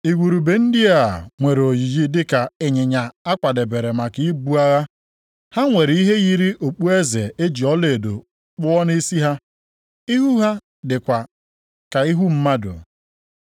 Igurube ndị a nwere oyiyi dị ka ịnyịnya a kwadebere maka ibu agha. Ha nwere ihe yiri okpueze e ji ọlaedo kpụọ nʼisi ha. Ihu ha dịkwa ka ihu mmadụ.